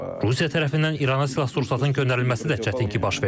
Rusiya tərəfindən İrana silah-sursatın göndərilməsi də çətin ki, baş versin.